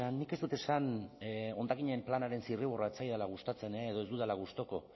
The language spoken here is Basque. nik ez dut esan hondakinen planaren zirriborroa ez zaidala gustatzen edo ez dudala gustuko